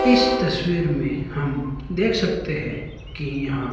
इस तस्वीर में हम देख सकते है कि यहां--